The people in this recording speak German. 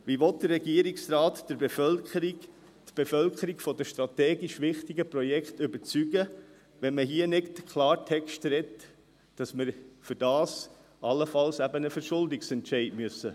Wie will der Regierungsrat die Bevölkerung von den strategisch wichtigen Projekten überzeugen, wenn man hier nicht Klartext redet, dass wir dafür allenfalls einen Verschuldungsentscheid fällen müssen?